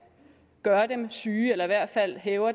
gør dem syge eller i hvert fald hæver